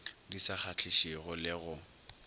di sa kgahlišego le go